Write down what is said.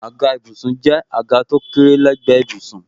Àga ìbùsùn jẹ́ àga tó kéré lé gbe ìbùsùn.